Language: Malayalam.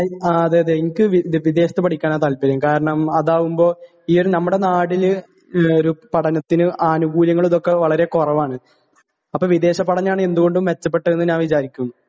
ങാ, അതെയതെ.എനിക്ക് വിദേശത്തു പഠിക്കാനാ താല്പര്യം.കാരണം അതാകുമ്പോ ഈയൊരു..നമ്മടെ നാട്ടില് പഠനത്തിന് അനൂകൂല്യങ്ങള് ഇതൊക്കെ വളരെ കുറവാണു, അപ്പൊ വിദേശപഠനമാണ് എന്തുകൊണ്ടും മെച്ചപ്പെട്ടതെന്ന് ഞാൻ വിചാരിക്കുന്നു.